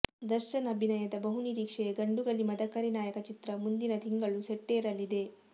ದರ್ಶನ್ ಅಭಿನಯದ ಬಹು ನಿರೀಕ್ಷೆಯ ಗಂಡುಗಲಿ ಮದಕರಿ ನಾಯಕ ಚಿತ್ರ ಮುಂದಿನ ತಿಂಗಳು ಸೆಟ್ಟೇರಲಿದೆ